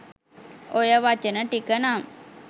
ඔය වචන ටික නම්